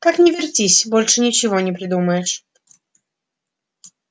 как ни вертись больше ничего не придумаешь